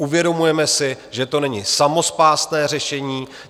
Uvědomujeme si, že to není samospásné řešení.